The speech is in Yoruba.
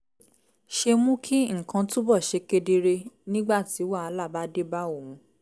ṣe mú kí nǹkan túbọ̀ ṣe kedere nígbà tí wàhálà bá dé bá òun